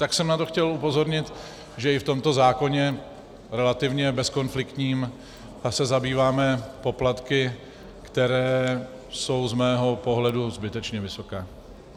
Tak jsem na to chtěl upozornit, že i v tomto zákoně relativně bezkonfliktním se zabýváme poplatky, které jsou z mého pohledu zbytečně vysoké.